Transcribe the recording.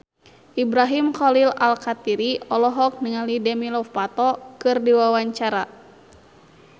Ibrahim Khalil Alkatiri olohok ningali Demi Lovato keur diwawancara